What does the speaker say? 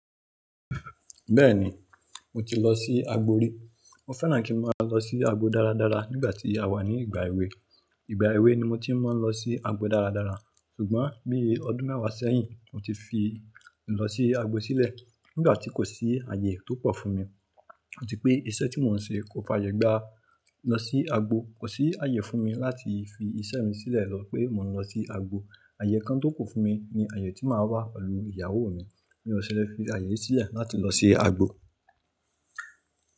Bẹ́ẹ̀ni, mo ti lọ sí agbo rí. Mo fẹ́ràn kí n máa lọ sí agbo dáradára nígbà tí a wà ní ìgbà èwe. Ìgbà èwe ni mo ti máa ń lọ sí agbo dáradára. Ṣùgbọ́n bí ọdún mẹ́wàá sẹ́yìn, mo ti fi ìlọ sí agbo sílẹ̀ nígbà tí kò sí ààyè tó pọ̀ fún mi. Ati pé iṣẹ́ tí mò ń ṣe kò faye gba lọ sí agbo. Kò sí ààyè fún mi láti fi iṣẹ́ mi sílẹ̀ lọ pé mọ̀ ń lọ sí agbo. Ààyè kan tó kù fún mi ni ààyè tí máa wà pelù ìyàwó mi. Mí o sẹ̀ lè fi ààyè sílẹ̀ láti lọ ṣe àgbò.